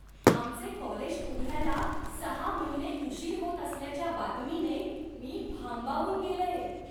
आमचे कॉलेज उघडायला सहा महिने उशीर होत असल्याच्या बातमीने मी भांबावून गेलेय.